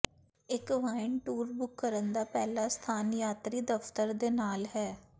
ਇੱਕ wine tour book ਕਰਨ ਦਾ ਪਹਿਲਾ ਸਥਾਨ ਯਾਤਰੀ ਦਫਤਰ ਦੇ ਨਾਲ ਹੈ